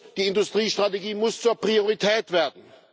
Die Industriestrategie muss zur Priorität werden.